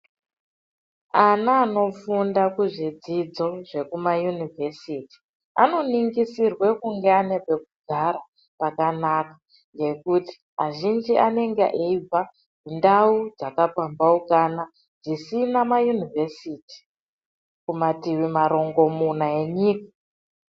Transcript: Ana anofunda kuzvidzidzo zvekumayunivhesiti, anoningisirwa kunge ane pekugara pakanaka ngekuti azhinji anenge eyibva ndau dzakapambaukana, dzisina mayunivhesiti kumativi marongomuna enyika.